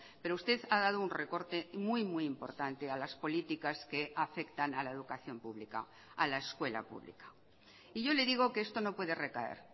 pero usted ha dado un recorte muy muy importante a las políticas que afectan a la educación pública a la escuela pública y yo le digo que esto no puede recaer